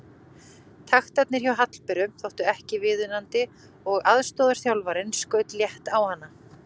Taktarnir hjá Hallberu þóttu ekki viðunandi og aðstoðarþjálfarinn skaut létt á hana.